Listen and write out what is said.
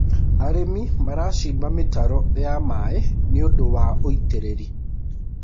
arĩmi maracimba mitaro ya maĩ nĩũndũ wa ũitiririi